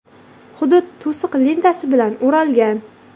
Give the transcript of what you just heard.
Hudud to‘siq lentasi bilan o‘ralgan.